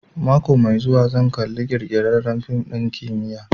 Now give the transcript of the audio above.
Mako mai zuwa zan kalla ƙirƙirarren fim ɗin kimiyya